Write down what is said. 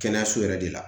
Kɛnɛyaso yɛrɛ de la